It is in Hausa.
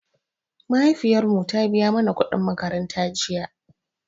Mahaifiyar mu ta biya mana kuɗin makaranta jiya